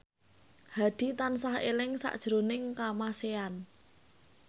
Hadi tansah eling sakjroning Kamasean